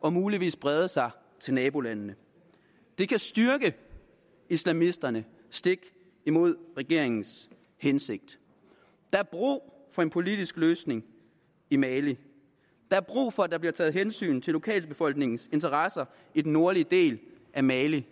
og muligvis brede sig til nabolandene det kan styrke islamisterne stik imod regeringens hensigt der er brug for en politisk løsning i mali der er brug for at der bliver taget hensyn til lokalbefolkningens interesser i den nordlige del af mali